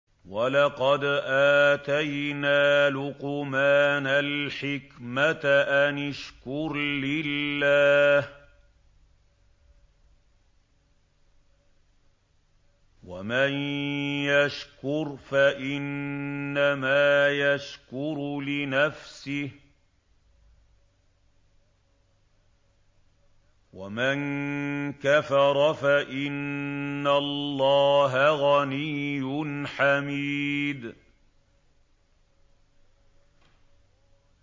وَلَقَدْ آتَيْنَا لُقْمَانَ الْحِكْمَةَ أَنِ اشْكُرْ لِلَّهِ ۚ وَمَن يَشْكُرْ فَإِنَّمَا يَشْكُرُ لِنَفْسِهِ ۖ وَمَن كَفَرَ فَإِنَّ اللَّهَ غَنِيٌّ حَمِيدٌ